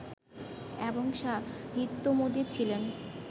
এবং সাহিত্যামোদী ছিলেন